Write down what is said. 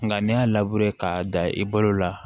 Nka ne y'a k'a da i balo la